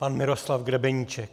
Pan Miroslav Grebeníček.